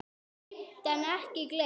Geymt en ekki gleymt!